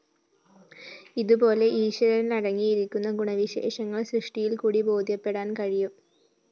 ഇതുപോലെ ഈശ്വരനിലടങ്ങിയിരിക്കുന്ന ഗുണവിശേഷങ്ങള്‍ സൃഷ്ടിയില്‍ക്കൂടി ബോധ്യപ്പെടാന്‍ കഴിയും